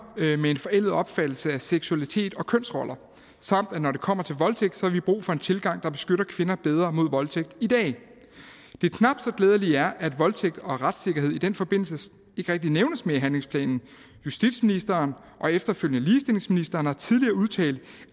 med en forældet opfattelse af seksualitet og kønsroller samt at når det kommer til voldtægt har vi brug for en tilgang der beskytter kvinder bedre mod voldtægt i dag det knap så glædelige er at voldtægt og retssikkerhed i den forbindelse ikke rigtig nævnes mere i handlingsplanen justitsministeren og efterfølgende ligestillingsministeren har tidligere udtalt